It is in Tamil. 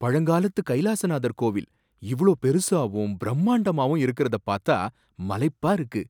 பழங்காலத்து கைலாசநாதர் கோவில் இவ்ளோ பெருசாவும் பிரம்மாண்டமாவும் இருக்கறத பாத்தா மலைப்பா இருக்கு.